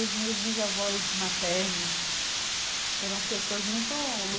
Os meus bisavós maternos foram pessoas